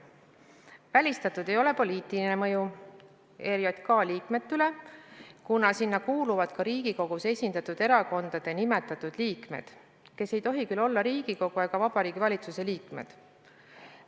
Välistatud ei ole poliitiline mõju ERJK liikmete üle, kuna sinna kuuluvad ka Riigikogus esindatud erakondade nimetatud liikmed, kes ei tohi küll olla Riigikogu ega Vabariigi Valitsuse liikmed.